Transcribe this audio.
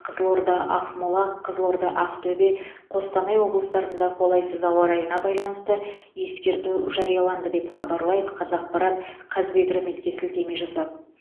қызылорда ақмола қызылорда ақтөбе қостанай облыстарында қолайсыз ауа райына байланысты ескерту жарияланды деп хабарлайды қазақпарт қазгидрометке сілтеме жасап